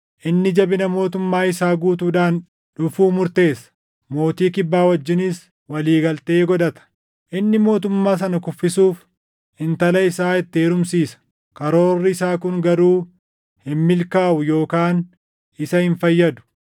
Inni jabina mootummaa isaa guutuudhaan dhufuu murteessa; mootii Kibbaa wajjinis walii galtee godhata. Inni mootummaa sana kuffisuuf intala isaa itti heerumsiisa; karoorri isaa kun garuu hin milkaaʼu yookaan isa hin fayyadu.